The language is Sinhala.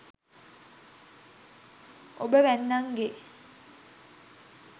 ඔබ වැන්නන්ගේ